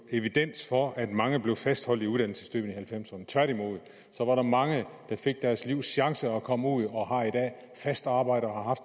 evidens for at mange blev fastholdt i uddannelsessystemet i nitten halvfemserne tværtimod var der mange der fik deres livs chance og kom ud og de har i dag fast arbejde og har